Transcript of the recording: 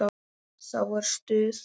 Þá er stuð.